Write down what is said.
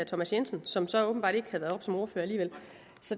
thomas jensen som så åbenbart ikke har været oppe som ordfører alligevel